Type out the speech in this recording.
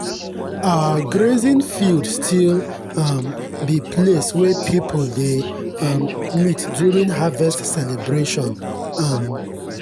our grazing field still um be place wey people dey um meet during harvest celebration. um